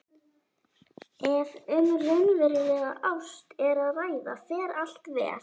Ef um raunverulega ást er að ræða fer allt vel.